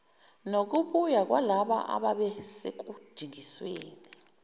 nokubuya kwalabo ababesekudingisweni